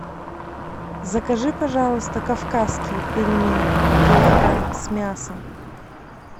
закажи пожалуйста кавказские пельмени килограмм с мясом